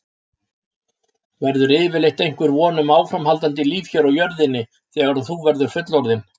Verður yfirleitt einhver von um áframhaldandi líf hér á jörðinni þegar þú verður fullorðinn?